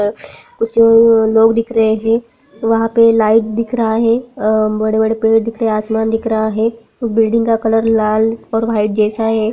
कुछ लोग दिख रहे है वहाँ पर लाइट दिख रहा है अ बड़े-बड़े पेड़ दिख रहा हैआसमान दिख रहा है उस बिल्डिंग का कलर लाल और व्हाइट जैसा है।